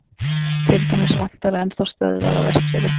til dæmis vantar enn þá stöðvar á vestfjörðum